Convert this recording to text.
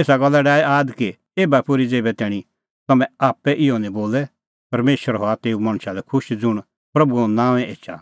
एसा गल्ला डाहै आद कि एभा पोर्ही ज़ेभै तैणीं तम्हैं आप्पै इहअ निं बोले परमेशर हआ तेऊ मणछा लै खुश ज़ुंण प्रभूए नांओंऐं एछा